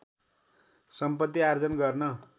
सम्पत्ति आर्जन गर्न